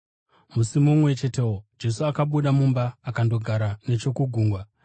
Musi mumwe chetewo, Jesu akabuda mumba akandogara nechokugungwa.